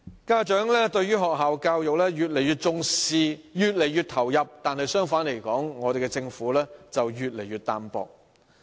家長對於學校教育越來越重視和投入，相反政府卻越來越淡薄。